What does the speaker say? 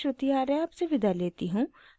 I I T Bombay से मैं श्रुति आर्य आपसे विदा लेती हूँ